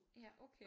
Ja okay